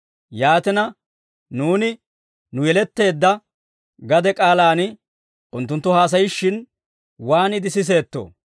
Yaatina, nuuni nu yeletteedda gade k'aalaan unttunttu haasayishshin waaniide siseettoo?